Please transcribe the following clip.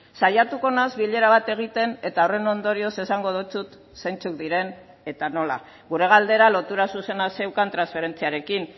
saiatuko naiz bilera bat egiten eta horren ondorioz esango dizut zeintzuk diren eta nola gure galdera lotura zuzena zeukan transferentziarekin